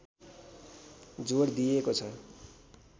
जोड दिइएको छ